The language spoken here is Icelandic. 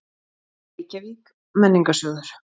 Reykjavík: Menningarsjóður.